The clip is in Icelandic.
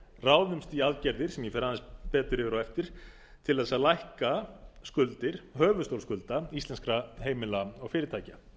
ráðumst í aðgerðir sem ég fer aðeins betur yfir á eftir til að lækka skuldir höfuðstól skulda íslenskra heimila og fyrirtækja